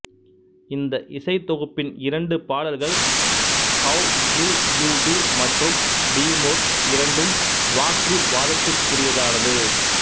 இந்த இசைத்தொகுப்பின் இரண்டு பாடல்கள் ஹவ் டு யு டூ மற்றும் டீமொர் இரண்டும் வாக்குவாதத்திற்குரியதானது